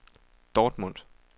Dortmund